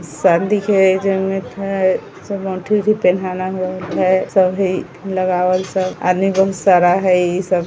सब अंगूठी उठी पहनाना होएल हई सब हई लगावल सब आदमी बहुत सारा हई इ सब |